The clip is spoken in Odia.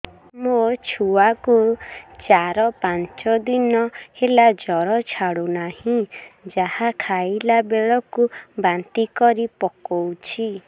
ମୋ ଛୁଆ କୁ ଚାର ପାଞ୍ଚ ଦିନ ହେଲା ଜର ଛାଡୁ ନାହିଁ ଯାହା ଖାଇଲା ବେଳକୁ ବାନ୍ତି କରି ପକଉଛି